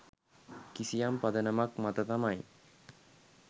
කිසියම් පදනමක් මත තමයි.